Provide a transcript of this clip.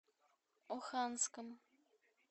оханском